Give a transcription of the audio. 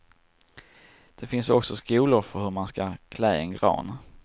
Det finns också skolor för hur man ska klä en gran.